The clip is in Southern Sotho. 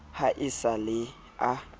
ha e sa le a